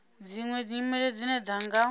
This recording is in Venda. dziṅwe nyimelo dzine dza nga